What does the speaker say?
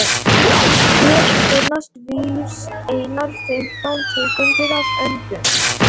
Hér finnast víst einar fimmtán tegundir af öndum.